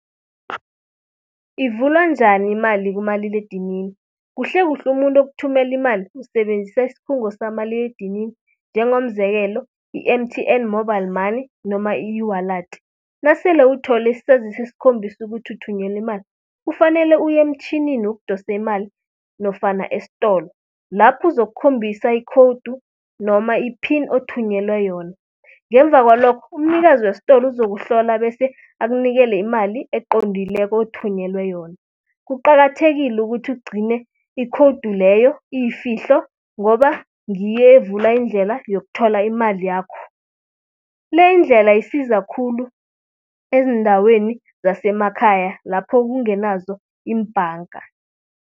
Ivulwa njani imali kumaliledinini? Kuhlekuhle umuntu okuthumela imali, usebenzisa iskhungo sakamaliledinini njengomzekelo i-M_T_N mobile money noma i-ewallet. Nasele uthole isaziso esikhombisa ukuthi uthunyelwe imali kufanele uye emtjhinini wokudosa imali nofana estolo. Lapho uzokukhombisa ikhowudi noma iphini othunyelwe yona. Ngemva kwalokho, umnikazi westolo uzokuhlola bese akunikele imali eqondileko othunyelwe yona. Kuqakathekile ukuthi ugcine ikhowudu leyo iyifihlo ngoba ngiyo evula indlela yokuthola imali yakho. Le indlela isiza khulu eziindaweni zasemakhaya lapho kungenazo iimbanga.